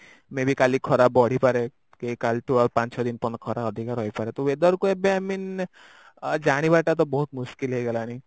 may ବିଆର କାଲି ଖରା ପଡିପାରେ କି କଲିଠୁ ପାଞ୍ଚ ଛ ଦିନ ପର୍ଯ୍ୟନ୍ତ ଖରା ଅଧିକ ରହିପାରେ ତ weather କୁ ଏବେ ଆମେ I mean ଆଁ ଜାଣିବାଟା ତା ବହୁତ ହେଇଗଲାଣି